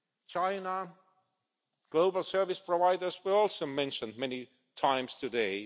China and global service providers were also mentioned many times today.